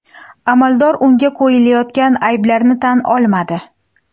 Amaldor unga qo‘yilayotgan ayblarni tan olmadi.